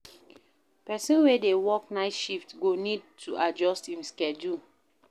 Person wey dey work night shift go need to adjust im schedule